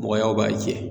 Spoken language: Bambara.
Mɔgɔyaw b'a jɛ